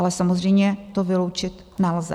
Ale samozřejmě to vyloučit nelze.